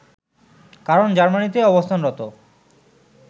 কারণ জার্মানিতে অবস্থানরত